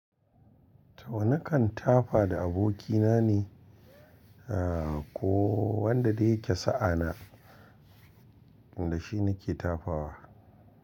To nakan tafa da abokina ne, ah ko wanda dai yake sa'a na da shi nike tafawa.